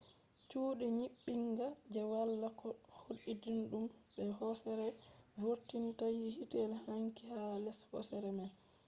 chuddi nyibbinga je wala ko hautidum be hosere vurtinta hitel wangi ha les hosere man